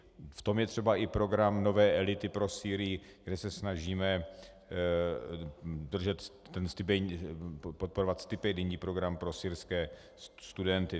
V tom je třeba i program Nové elity pro Sýrii, kde se snažíme podporovat stipendijní program pro syrské studenty.